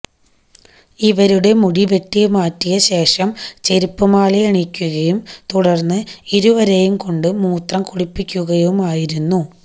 ഇവരുടെ മുടി വെട്ടിമാറ്റിയ ശേഷം ചെരുപ്പ് മാലയണിയിക്കുകയും തുടര്ന്ന് ഇരുവരേയും കൊണ്ട് മൂത്രം കുടുപ്പിക്കുകയുമായിരുന്നു